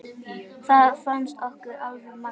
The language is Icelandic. Það fannst okkur alveg magnað.